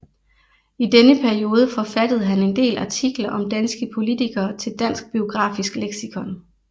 I denne periode forfattede han en del artikler om danske politikere til Dansk Biografisk Leksikon